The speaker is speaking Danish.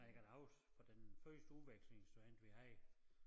Men jeg kan da huske fra den første udvekslingsstudent vi havde